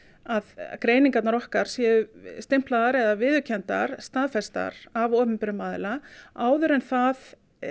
að greiningarnar okkar séu stimplaðar eða viðurkenndar staðfestar af opinberum aðila áður en það